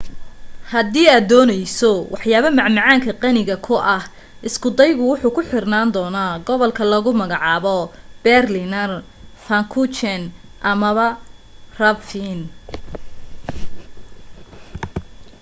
hadii aad dooneyso waxyaabo macmaanka qaniga ku ah isku daygaga wuxuu ku xirnaan doona gobolka lagu magacabo berliner pfannkuchen ama krapfen